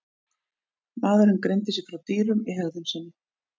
Maðurinn greindi sig frá dýrum í hegðun sinni.